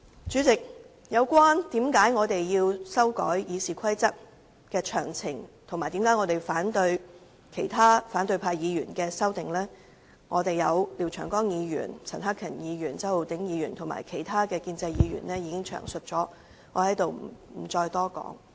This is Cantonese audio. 主席，關於我們修改《議事規則》及反對由反對派議員提出的修訂建議，廖長江議員、陳克勤議員、周浩鼎議員和其他建制派議員已經詳細闡述，所以我也不會多說。